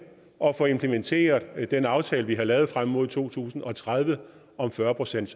at få implementeret den aftale vi har fået lavet frem mod to tusind og tredive om fyrre procent